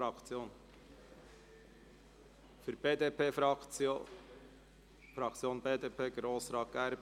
Für die BDP-Fraktion spricht in diesem Fall Grossrat Gerber.